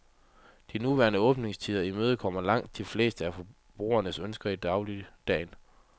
De nuværende åbningstider imødekommer langt de fleste af forbrugernes ønsker i dagligdagen.